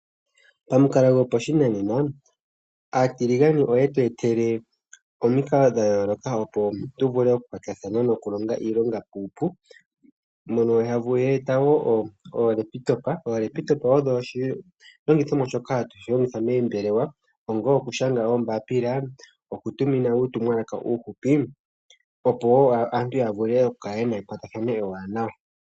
Pamukalo gopashinanena, aatiliganane oye tu etele omikalo dha yooloka, opo tu vule oku iilonga uupu. Mono ya eta wo ookompiuta. Ookompiuta odho oshilongithomwa shoma hatu shi longitha moombelewa onga okushanga ombapila. Okutumina uutumwalaka uuhupi, opo wo aantu ya vule okukala yena ekwatathano ewanawa.